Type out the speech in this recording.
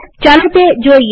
ચાલો તે જોઈએ